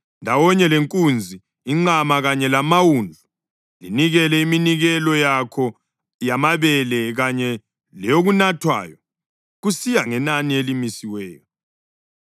Ndawonye lenkunzi, inqama, kanye lamawundlu, linikele iminikelo yakho yamabele kanye leyokunathwayo kusiya ngenani elimisiweyo.